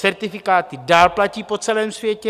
Certifikáty dál platí po celém světě.